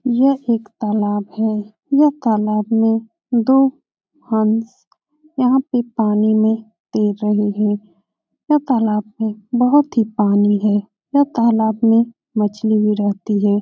यह एक तालाब है। यह तालाब में दो हंस यहाँ पे पानी में तैर रहें हैं। यह तालाब में बोहोत ही पानी है। यह तालाब में मछली भी रहती है।